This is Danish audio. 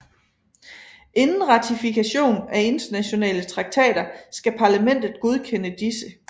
Inden ratifikation af internationale traktater skal parlamentet godkende disse